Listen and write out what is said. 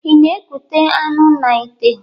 I na-ekute anụ na ìtè?